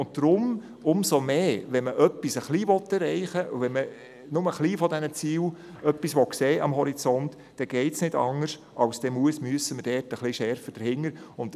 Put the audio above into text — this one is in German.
Deshalb umso mehr: Wenn man also nur einen kleinen Schritt erreichen und am Horizont nur einen kleinen Teil dieser Ziele sehen will, geht es nicht anders, und wir müssen das konsequenter anpacken.